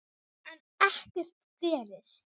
En ekkert gerist.